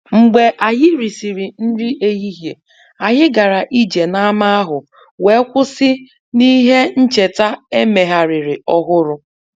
Mgbe anyị risịrị nri ehihie, anyị gara ije n’ámá ahụ wee kwụsị n’ihe ncheta e megharịrị ọhụrụ